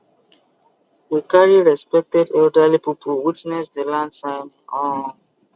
we carry respected elderly people witness the land signing um